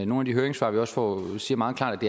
nogle af de høringssvar vi får siger meget klart